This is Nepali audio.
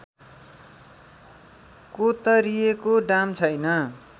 कोतरिएको डाम छैन